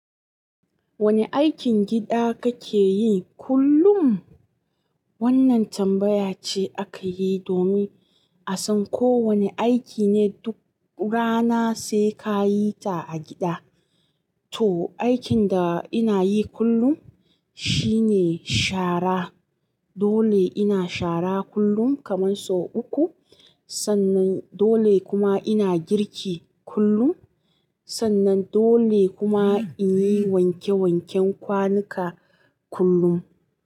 Wane aikin gida kake yi kullum? Wannan tambaya ce aka yi domin a san ko wane aiki ne duk rana sai ka yi ta a gida. To, aikin da ina yi kullum shi ne shara. Dole ina shara kullum kaman sau uku. Sannan dole kuma ina girki kullum. Sannan dole kuma in yi wanke wanken kwanuka kullum.